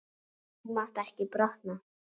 Þú mátt ekki brotna.